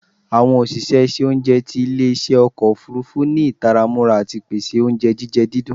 Awọn oṣiṣẹ iṣẹ ounjẹ ti ile-iṣẹ ọkọ ofurufu ni itara mura ati pese ounjẹ jijẹ didùn